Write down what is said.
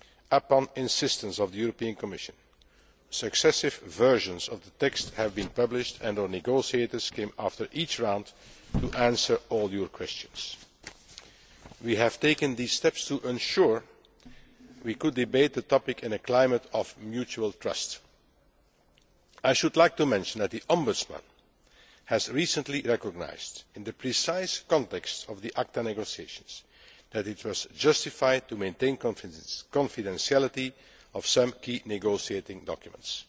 At the insistence of the Commission, successive versions of the text have been published and our negotiators came here after each round to answer all your questions. We have taken these steps to ensure that we could debate the topic in a climate of mutual trust. I should like to mention that the Ombudsman has recently recognised, in the precise context of the ACTA negotiations, that it was justified to maintain the confidentiality of some key negotiating documents.